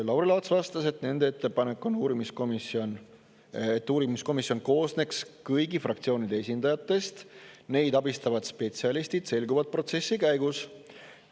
Lauri Laats vastas, et nende ettepanek on, et uurimiskomisjon koosneks kõigi fraktsioonide esindajatest, neid abistavad spetsialistid selguksid protsessi käigus.